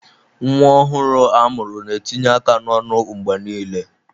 Nwa ọhụrụ a mụrụ na-etinye aka n'ọnụ mgbe niile.